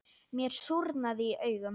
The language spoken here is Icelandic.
Mér súrnaði í augum.